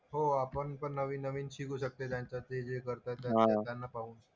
हो आपणपण नवीन नवीन शिकू शकते त्यांच्यातले जे करतात त्यांना पाहून.